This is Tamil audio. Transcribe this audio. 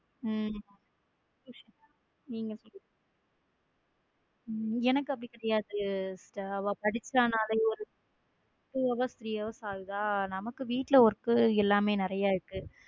உம் எனக்கு அப்படி கிடையாது sister அவ படிச்சானா ஒரு two hours ஆகுதா நமக்கு வீட்ல work எல்லாமே நிறைய இருக்கு.